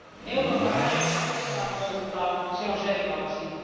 Euroopan rajoja ei saa muuttaa, se on selvä asia.